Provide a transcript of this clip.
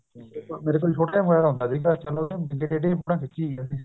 ਮੇਰੇ ਕੋਲ ਛੋਟਾ ਜਾ mobile ਹੁੰਦਾ ਸੀਗਾ ਚਲੋ ਬਿੰਗੀ ਟੇਢੀਆਂ ਜੀ ਫੋਟੋ ਖਿੱਚੀ ਗਏ ਅਸੀਂ